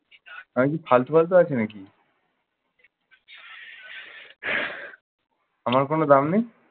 আমি কি ফালতু ফালতু আছি নাকি? আমার কোনো দাম নেই?